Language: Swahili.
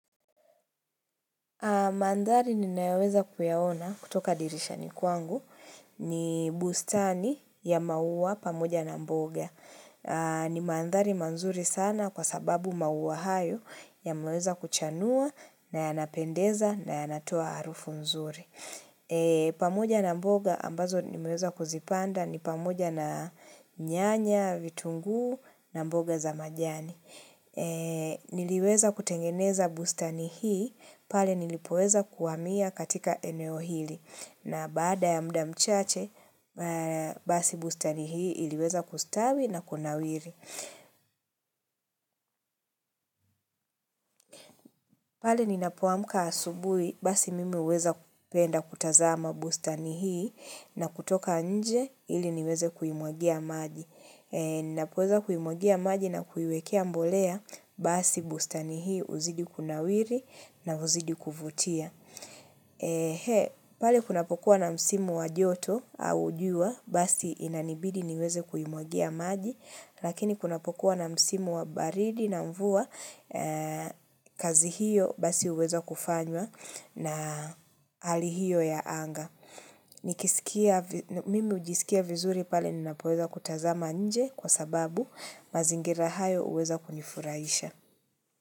Mandhari ni nayoweza kuyaona kutoka dirisha ni kwangu ni bustani ya maua pamoja na mboga. Ni mandhari mazuri sana kwa sababu maua hayo ya maweza kuchanua na yanapendeza na yanatoa harufu nzuri. Pamoja na mboga ambazo nimeweza kuzipanda ni pamoja na nyanya, vitunguu na mboga za majani Niliweza kutengeneza busta ni hii pale nilipoweza kuhamia katika eneo hili na baada ya mudamchache basi bustani hii iliweza kustawi na kunawiri pale ninapoamka asubuhi, basi mimi huweza penda kutazama bustani hii na kutoka nje ili niweze kuimwagia maji. Ninapoweza kuimwagia maji na kuiwekea mbolea, basi bustani hii huzidi kuna wiri na huzidi kuvutia. Pale kunapokuwa na msimu wa joto au jua, basi inanibidi niweze kuimwagia maji. Lakini kuna pokuwa na msimu wa baridi na mvua kazi hiyo basi huweza kufanywa na hali hiyo ya anga. Mimi hujisikia vizuri pale ninapoweza kutazama nje kwa sababu mazingira hayo huweza kunifurahisha.